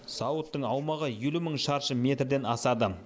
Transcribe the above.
зауыттың аумағы елу мың шаршы метрден асады